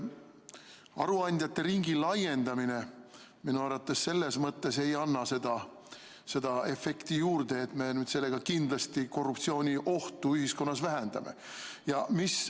Aruandjate ringi laiendamine minu arvates ei anna seda efekti, et me kindlasti ühiskonnas korruptsiooniohtu vähendame.